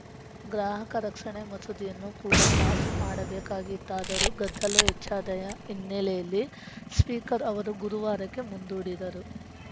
ಗ್ರಾಹಕ ರಕ್ಷಣೆ ಮಸೂದೆಯನ್ನು ಕೂಡ ಪಾಸ್‌ ಮಾಡಬೇಕಿತ್ತಾದರೂ ಗದ್ದಲ ಹೆಚ್ಚಾದಯ ಹಿನ್ನೆಲೆಯಲ್ಲಿ ಸ್ಪೀಕರ್‌ ಅವರು ಗುರುವಾರಕ್ಕೆ ಮುಂದೂಡಿದರು